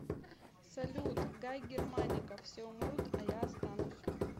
салют гай германика все умрут а я останусь